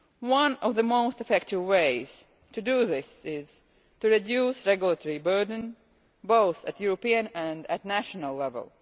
One of the most effective ways to do this is to reduce the regulatory burden at both European and national level.